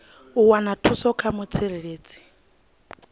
u wana thuso kha mutsireledzi